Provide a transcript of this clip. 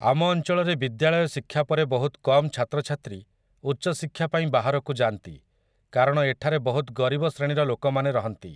ଆମ ଅଞ୍ଚଳରେ ବିଦ୍ୟାଳୟ ଶିକ୍ଷା ପରେ ବହୁତ କମ୍ ଛାତ୍ରଛାତ୍ରୀ ଉଚ୍ଚଶିକ୍ଷା ପାଇଁ ବାହାରକୁ ଯାଆନ୍ତି କାରଣ ଏଠାରେ ବହୁତ ଗରିବ ଶ୍ରେଣୀର ଲୋକମାନେ ରହନ୍ତି ।